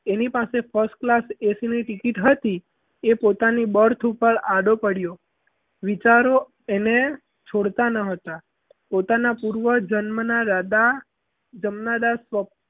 એની પાસે first class ac ની ticket હતી એ પોતાની birth ઉપર આડો પડ્યો વિચારો એને છોડતા ન હતા. પોતાના પૂર્વ જન્મના રાજા જમનાદાસ